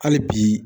Hali bi